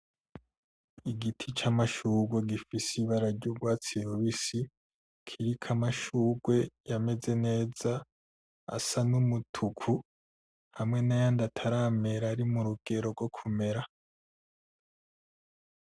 Igiti c'amashurwe gifise ibara ry'urwatsi rubisi kiriko amashurwe yameze neza asa n'umutuku hamwe n'ayandi ataramera ari murugero rwo kumera.